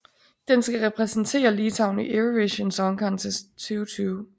Den skal repræsentere Litauen i Eurovision Song Contest 2020